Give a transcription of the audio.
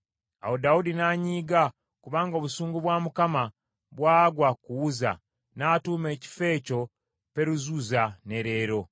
Awo Dawudi n’anyiiga kubanga obusungu bwa Mukama bwagwa ku Uzza, n’atuuma ekifo ekyo Peruzuzza, ne leero.